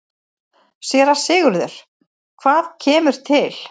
SÉRA SIGURÐUR: Hvað kemur til?